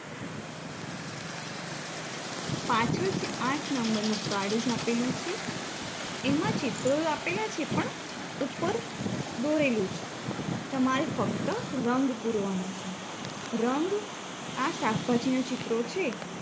પાછળ જે આઠ નંબરનુ card આપેલું છે એમાં ચિત્રો આપેલા છે પણ ઉપર દોરેલું છે તમારે ફક્ત રંગ પૂરવાનો છે રંગ આ શાકભાજીના ચિત્રો છે